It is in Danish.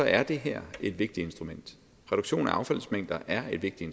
er det her et vigtigt instrument reduktion af affaldsmængder er et vigtigt